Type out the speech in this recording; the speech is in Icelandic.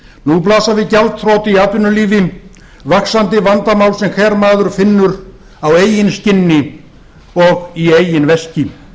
nú blasa við gjaldþrot í atvinnulífi vaxandi vandamál sem hver maður finnur á eigin skinni og í eigin veski